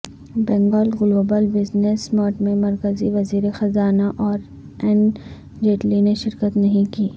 Bengal global business summit میں مرکزی وزیر خزانہ ارو ن جیٹلی نے شرکت نہیں کی